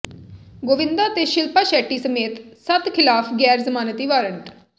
ਗੋਵਿੰਦਾ ਤੇ ਸ਼ਿਲਪਾ ਸ਼ੈੱਟੀ ਸਮੇਤ ਸੱਤ ਖ਼ਿਲਾਫ਼ ਗ਼ੈਰ ਜ਼ਮਾਨਤੀ ਵਰੰਟ